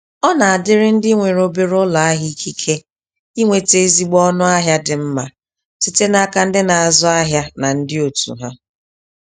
Ọ nadịrị ndị nwere obere ụlọahịa ikike inweta ezigbo ọnụ ahịa dị mma site n'aka ndị na-azụ ahịa na ndị otu ha.